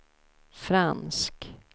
fransk